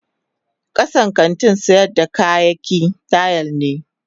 Kasan kantin sayar da kayaki tila ne.